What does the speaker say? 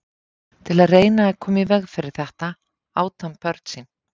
Til að reyna að koma í veg fyrir þetta át hann börn sín.